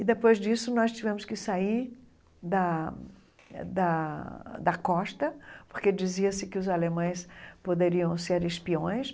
E depois disso, nós tivemos que sair da da da costa, porque dizia-se que os alemães poderiam ser espiões.